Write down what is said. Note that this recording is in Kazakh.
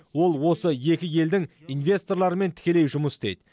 ол осы екі елдің инвесторларымен тікелей жұмыс істейді